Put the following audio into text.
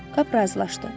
Kap razılaşdı.